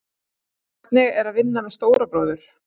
Hvernig er að vinna með stóra bróður?